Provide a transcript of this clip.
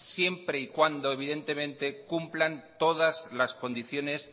siempre y cuando evidentemente cumplan todas las condiciones